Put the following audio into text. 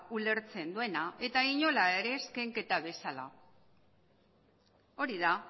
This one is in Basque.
ulertzen duena eta inola ere ez kenketa bezala hori da